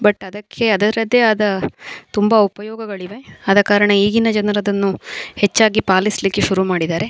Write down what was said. But ಅದಕ್ಕೆ ಅದರದೆ ಆದ ತುಂಬಾ ಉಪಯೋಗಗಳಿವೆ ಅದ ಕಾರಣ ಈಗಿನ ಜನರದನ್ನು ಹೆಚ್ಚಾಗಿ ಪಾಲಿಸ್ಲಿಕ್ಕೆ ಶುರುಮಾಡಿದರೆ.